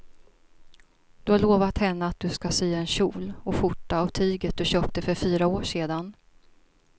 Du har lovat henne att du ska sy en kjol och skjorta av tyget du köpte för fyra år sedan.